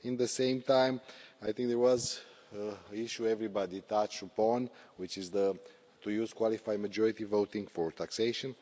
At the same time, I think there was an issue everybody touched upon, which is to use qualified majority voting for taxation.